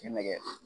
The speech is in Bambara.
Cɛ nɛgɛ